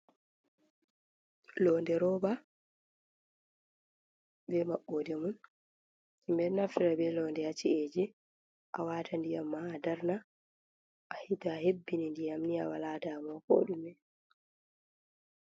londe roba be mabode mun himbenaftra be londe a ci’eji a wata ndiyamma a darna a hita hebbini ndiyamniya walatamo kodume